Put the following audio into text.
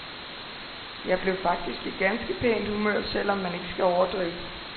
Jeg blev faktisk i ganske pænt humør, selv om man ikke skal overdrive.